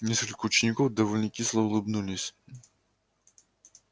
несколько учеников довольно кисло улыбнулись